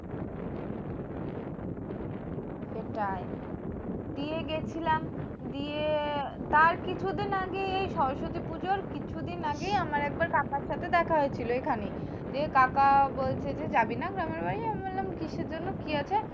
সেটাই দিয়ে গেছিলাম। দিয়ে তার কিছু দিন আগে এই সরস্বতী পুজোর কিছু দিন আগেই আমার কাকার সাথে দেখা হয়েছিল এখানে। দিয়ে কাকা বলছে যে, যাবিনা আমার বাড়ি? আমি বললাম কিসের জন্য? কি আছে?